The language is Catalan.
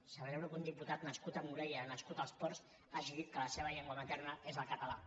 celebro que un diputat nascut a morella nascut als ports hagi dit que la seva llengua materna és el català